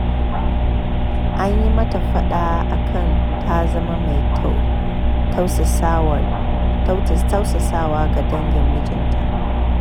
An yi mata faɗa a kan ta zama mai tausasawa ga dangin mijinta